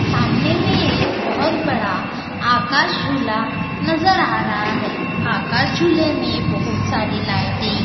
सामने में एक बहोत बड़ा आकाश झूला नजर आ रहा है आकाश झूले में बहोत सारी लाइटें --